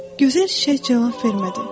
Gözəl çiçək cavab vermədi.